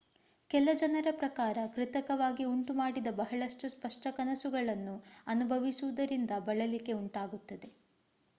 ಕೆಲ ಜನರ ಪ್ರಕಾರ ಕೃತಕವಾಗಿ ಉಂಟುಮಾಡಿದ ಬಹಳಷ್ಟು ಸ್ಪಷ್ಟ ಕನಸುಗಳನ್ನು ಅನುಭವಿಸುವುದರಿಂದ ಬಳಲಿಕೆ ಉಂಟಾಗುತ್ತದೆ